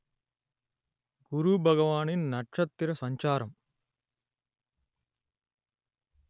குருபகவானின் நட்சத்திர சஞ்சாரம்